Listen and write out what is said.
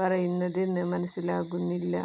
പറയുന്നതെന്ന് മനസിലാകുന്നില്ല